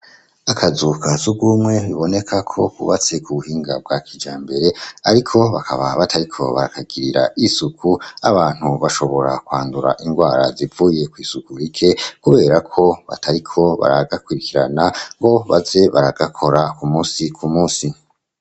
Akazu ka surwumwe biboneka ko kubatse ku buhinga bwa kijambere, ariko bakaba batariko barakagirira isuku. Abantu bashobora kwandura indwara zivuye kw'isuku rike kubera ko batariko baragakwirikirana ngo baze baragakora ku munsi ku munsi.